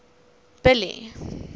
billy